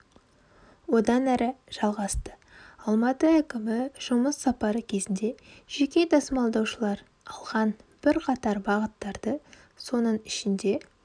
одан әрі жалғасты алматы әкімі жұмыс сапары кезінде жеке тасымалдаушылар алған бірқатар бағыттарды соның ішінде